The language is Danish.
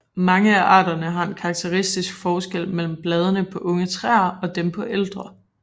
Mange af arterne har en karakteristisk forskel mellem bladene på unge træer og dem på ældre